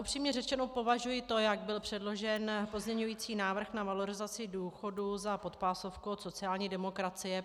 Upřímně řečeno považuji to, jak byl předložen pozměňovací návrh na valorizaci důchodů, za podpásovku od sociální demokracie.